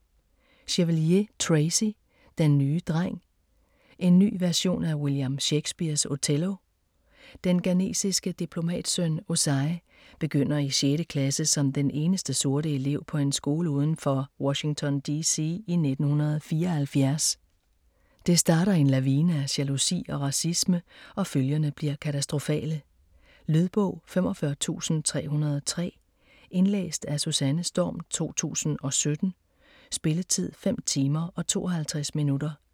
Chevalier, Tracy: Den nye dreng: en ny version af William Shakespears Othello Den ghanesiske diplomatsøn Osei begynder i sjette klasse som den eneste sorte elev på en skole uden for Washington D.C. i 1974. Det starter en lavine af jalousi og racisme, og følgerne bliver katastrofale. Lydbog 45303 Indlæst af Susanne Storm, 2017. Spilletid: 5 timer, 52 minutter.